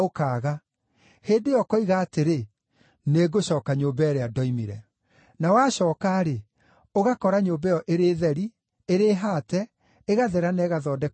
Hĩndĩ ĩyo ũkoiga atĩrĩ, ‘Nĩngũcooka nyũmba ĩrĩa ndoimire.’ Na wacooka-rĩ, ũgakora nyũmba ĩyo ĩrĩ theri, ĩrĩ haate, ĩgathera na ĩgathondekwo wega.